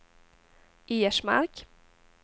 Ersmark